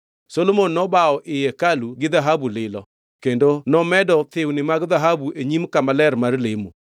Solomon nobawo ii hekalu gi dhahabu lilo kendo nomedo thiwni mag dhahabu e nyim kama ler mar lemo.